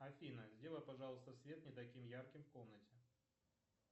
афина сделай пожалуйста свет не таким ярким в комнате